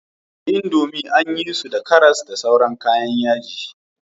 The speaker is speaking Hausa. Wasu indomie anyi su da karas da sauran kayan yaji